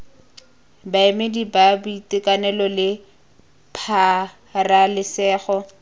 baemedi ba boitekanelo le pabalesego